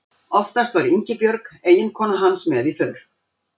Oftast var Ingibjörg eiginkona hans með í för.